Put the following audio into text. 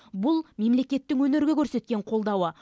бұл мемлекеттің өнерге көрсеткен қолдауы